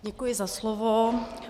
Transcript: Děkuji za slovo.